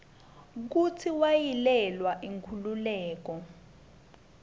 kutsi wayelwela inkhululeko